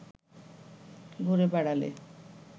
ঘুরে বেড়ালে